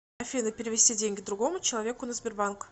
афина перевести деньги другому человеку на сбербанк